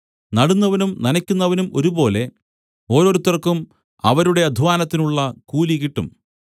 നടുന്നവനും നനയ്ക്കുന്നവനും ഒരുപോലെ ഓരോരുത്തർക്കും അവരുടെ അദ്ധ്വാനത്തിനുള്ള കൂലി കിട്ടും